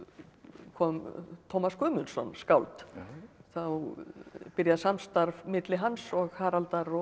kom Tómas Guðmundsson skáld þá byrjar samstarf milli hans og Haraldar og